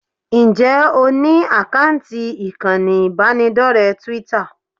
Ǹjẹ́ o ní àkáǹtì ìkànnì ìbánidọ́rẹ̀ẹ́ Twitter?